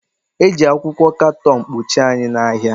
Eji akwụkwọ katọn kpuchie anyị na ahịa